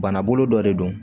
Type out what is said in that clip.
Bana bolo dɔ de don